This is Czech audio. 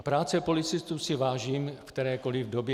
A práce policistů si vážím v kterékoli době.